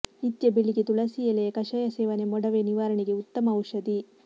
ನಿತ್ಯ ಬೆಳಿಗ್ಗೆ ತುಳಸೀ ಎಲೆಯ ಕಷಾಯ ಸೇವನೆ ಮೊಡವೆ ನಿವಾರಣೆಗೆ ಉತ್ತಮ ಔಷಧಿ